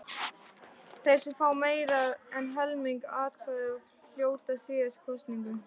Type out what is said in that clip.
Þeir sem fá meira en helming atkvæða hljóta síðan kosningu.